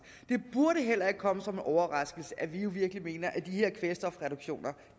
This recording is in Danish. det burde heller ikke komme som en overraskelse at vi virkelig mener at de her kvælstofreduktioner